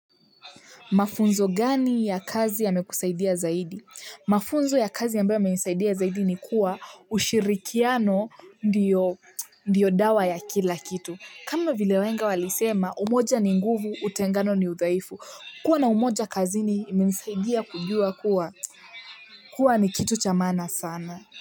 Mafunzo gani ya kazi yamekusaidia zaidi? Mafunzo ya kazi ya ambayo yameinisaidia zaidi ni kuwa ushirikiano ndiyo dawa ya kila kitu kama vile wahenga walisema umoja ni nguvu utengano ni udhaifu kuwa na umoja kazini imenisaidia kujua kuwa kuwa ni kitu cha maana sana.